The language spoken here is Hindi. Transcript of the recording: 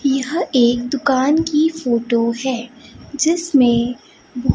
यह एक दुकान की फोटो है जिसमें ब--